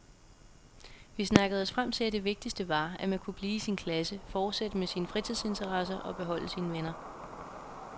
Vi snakkede os frem til at det vigtigste var, at man kunne blive i sin klasse, fortsætte med sine fritidsinteresser og beholde sine venner.